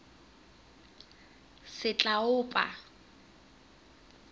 setlaopa